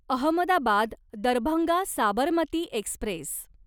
Ahmedabad Darbhanga Sabarmati Express